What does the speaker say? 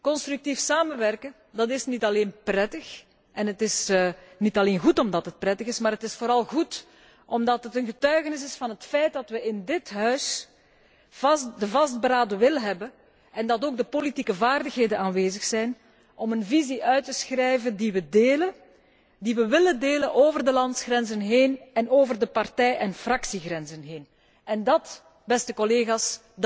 Constructief samenwerken is niet alleen prettig en niet alleen goed omdat het prettig is, maar het is vooral goed omdat het een getuigenis is van het feit dat we in dit Huis de vastberaden wil hebben, en dat ook de politieke vaardigheden aanwezig zijn om een visie uit te schrijven die we delen, die we willen delen over de landsgrenzen heen en over de partij en fractiegrenzen heen. Dat, beste collega's,